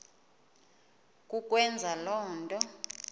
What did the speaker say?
kukwenza le nto